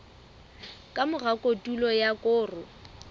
ka mora kotulo ya koro